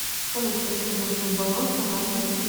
салют хочу узнать свой баланс на карте мир